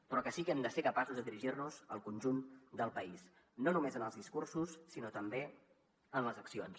però sí que hem de ser capaços de dirigir nos al conjunt del país no només en els discursos sinó també en les accions